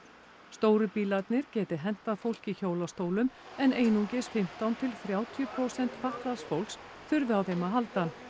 stóru bílarnir geti hentað fólki í hjólastólum en einungis fimmtán til þrjátíu prósent fatlaðs fólks þurfi á þeim að halda